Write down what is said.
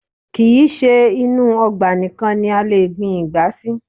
Kì í ṣe inú ọgbà nìkan ni a lè gbin ìgbá sí